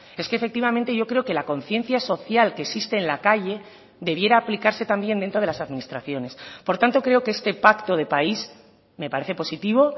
es que efectivamente yo creo que la conciencia social que existe en la calle debiera aplicarse también dentro de las administraciones por tanto creo que este pacto de país me parece positivo